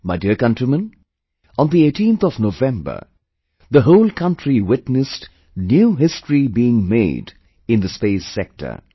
My dear countrymen, on the 18th of November, the whole country witnessed new history being made in the space sector